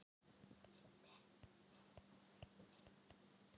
Tundurspillar voru þó ekki við gæslu hér við land fremur en endranær í upphafi stríðsins.